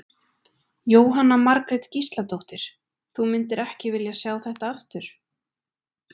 Jóhanna Margrét Gísladóttir: Þú myndir ekki vilja sjá þetta aftur?